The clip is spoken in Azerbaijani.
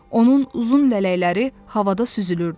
Onun uzun lələkləri havada süzülürdü.